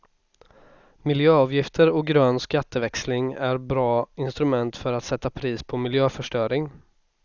Miljöavgifter och grön skatteväxling är bra instrument för att sätta pris på miljöförstöring.